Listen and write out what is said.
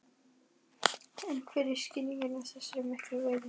En hver er skýringin á þessari miklu veiði?